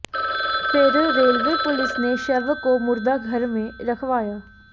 फिर railway police ने शव को मुर्दाघर में रखवाया